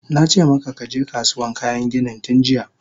Nace maka kaje Kasuwan kayan ginin tunjiya!